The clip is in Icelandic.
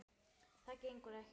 Það gengur ekki vel.